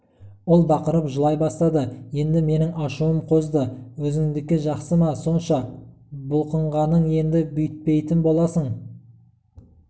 ол бақырып жылай бастады енді менің ашуым қозды өзіңдікі жақсы ма сонша бұлқынғаның енді бүйтпейтін боласың